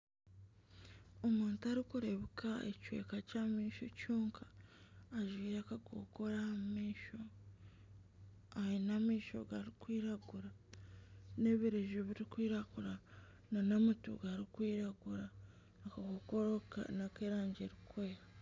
Omuntu arikurebuka ekicweka kyah'amaisho kyonka ajwire akakokoro aha maisho aine amaisho garikwiragura n'ebireju birikwiragura n'amatu garikwiragura akakokoro nak'erangi erikwera.